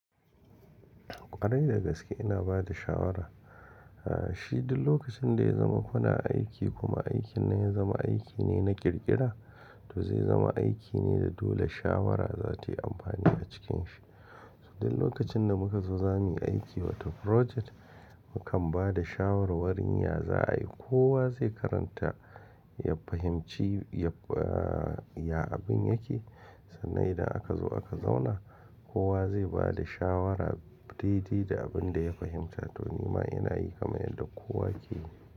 Kwarai da gaske ina bada shawara. Shi duk lokacin da ya zama kuna aiki kuma aikin ya zama aiki ne na ƙirƙira, to zai zama aiki ne da dole shawara za ta yi amfani a cikin shi. Duk lokacin da muka zo za mu yi aiki wata frojet, mu kan ba da shawarwarin ya za ayi. Kowa zai karanta, ya fahimci ya abin yake, sannan idan aka zo aka zauna, kowa zai ba da shawara daidai da abin da ya fahimta. To ni ma ina yi kamar yadda kowa yake yi.